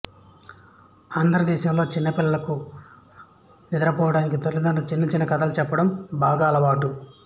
ఆంధ్రదేశంలో చిన్నపిల్లలకు నిద్రపోవడానికి తల్లిదండ్రులు చిన్న చిన్నకథలు చెప్పడం బాగా అలవాటు